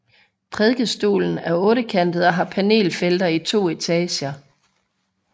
Prædikestolen er ottekantet og har panelfelter i to etager